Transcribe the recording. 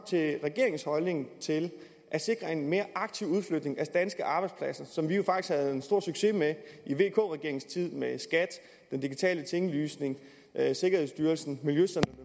til regeringens holdning til at sikre en mere aktiv udflytning af danske arbejdspladser som vi jo faktisk havde stor succes med i vk regeringens tid med skat den digitale tinglysning sikkerhedsstyrelsen miljøcentrene